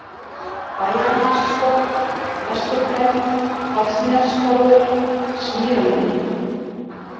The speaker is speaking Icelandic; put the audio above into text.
Bæjarnessporður, Vesturhraun, Karlsnessporður, Svíramýri